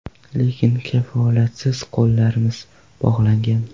Lekin kafolatsiz qo‘llarimiz bog‘langan.